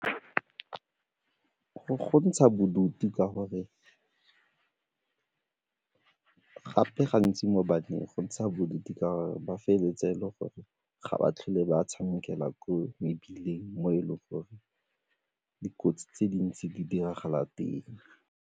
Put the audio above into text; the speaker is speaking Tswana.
Go ntsha bodutu ka gore gape gantsi mo baneng ba feleletse e le gore ga ba tlhole ba tshamekela ko mebileng mo e leng gore dikotsi tse dintsi di diragala teng.